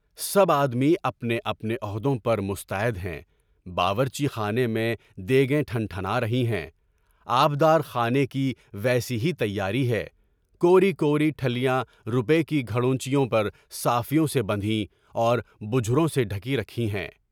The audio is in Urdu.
سب آدمی اپنے اپنے عہدوں پر مستعد ہیں، باورچی خانے میں دے گے تھان تھنارھی ہے، آبدار خانے کی بھی تیاری ہے، کوری کوری ٹھلیاں روپے کی گھڑونچیوں پر صافیوں سے ڈھکی ہیں اور تجھروں سے ڈھکی رکھی ہیں۔